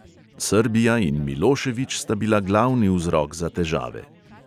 Srbija in milošević sta bila glavni vzrok za težave.